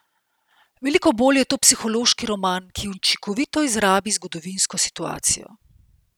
Veliko bolj je to psihološki roman, ki učinkovito izrabi zgodovinsko situacijo.